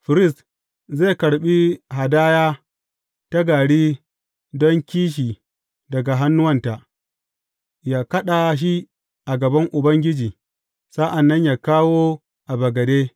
Firist zai karɓi hadaya ta gari don kishi daga hannuwanta, yă kaɗa shi a gaban Ubangiji sa’an nan yă kawo a bagade.